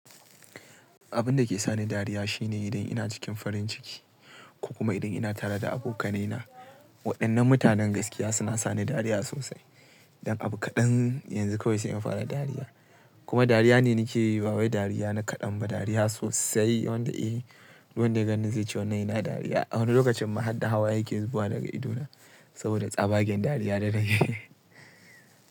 Abin da ke sa ni dariya shine idan ina cikin farin ciki ko kuma idan ina tare da abokanai na. Waɗannan mutanen gaskiya suna sa ni dariya sosai. Dan abu kaɗan yanzu kawai sai in fara dariya. Kuma dariya ne nake yi. Bawai dariya na kaɗan ba dariya sosai wanda eh. Duk wan da gan ni zai ce wanan yana dariya. A wani lokacin ma har da hawaye yake zuwa daga idona saboda tsabagen dariya da nake yi.